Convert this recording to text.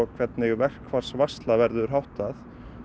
hvernig verkfallsvörslu verður háttað